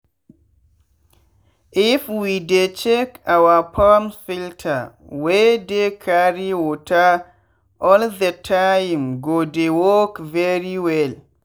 if we dey check our pumps filter wey dey carry water all the timee go dey work very well.